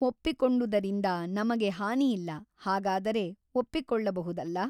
ಒಪ್ಪಿಕೊಂಡುದರಿಂದ ನಮಗೆ ಹಾನಿಯಿಲ್ಲ ಹಾಗಾದರೆ ಒಪ್ಪಿಕೊಳ್ಳಬಹುದಲ್ಲ ?